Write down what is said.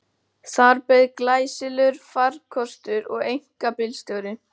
Þar beið glæsilegur farkostur og einkabílstjóri.